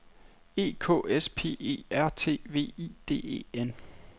E K S P E R T V I D E N